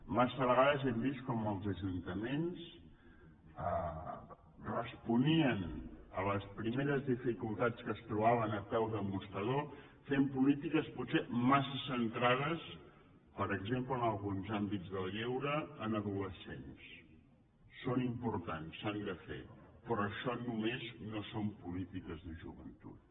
massa vegades hem vist com els ajuntaments responien a les primeres dificultats que es trobaven a peu de mostrador fent polítiques potser massa centrades per exemple en alguns àmbits del lleure en adolescents són importants s’han de fer però això només no són polítiques joventut